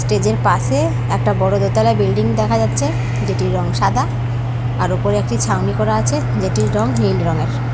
Stage -এর পাশে একটা বড়ো দোতলা বিল্ডিং দেখা যাচ্ছে। যেটির রং সাদা। আর উপর একটি ছাউনি করা আছে। যেটির রং নীল রঙের।